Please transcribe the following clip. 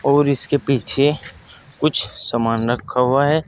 और इसके पीछे कुछ सामान रखा हुआ है।